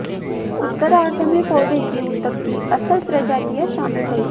उत्तरार्द्ध में पौधे के ऊतक की असल प्रजातियां शामिल हैं